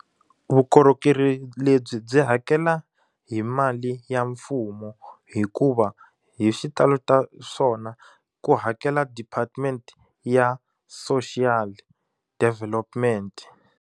Vukorhokeri lebyi byi hakela hi mali ya mfumo hikuva hi xitalo ta swona ku hakela Department ya Social Development.